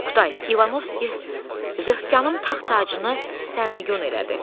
Oqtay, İvanovski zökkyanın taxtacını sərnigün elədi.